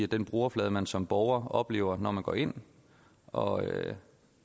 den brugerflade man som borger oplever når man går ind og